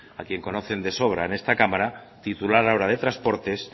al que conocen de sobra en esta cámara titular ahora de transportes